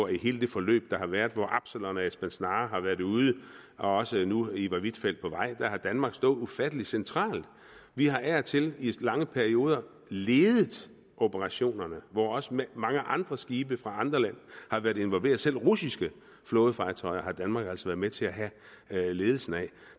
i hele det forløb der har været hvor absalon og esbern snare har været ude og også nu ivar huitfeldt på vej har danmark stået ufatteligt centralt vi har af og til i lange perioder ledet operationerne hvor også mange andre skibe fra andre lande har været involveret selv russiske flådefartøjer har danmark altså været med til at have ledelsen af